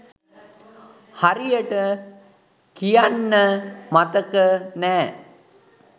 හරියට කියන්න මතක නෑ.